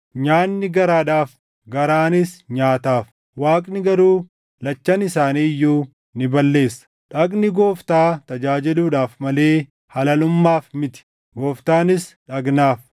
“Nyaanni garaadhaaf; garaanis nyaataaf;” Waaqni garuu lachan isaanii iyyuu ni balleessa. Dhagni Gooftaa tajaajiluudhaaf malee halalummaaf miti; Gooftaanis dhagnaaf.